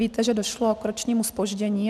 Víte, že došlo k ročnímu zpoždění.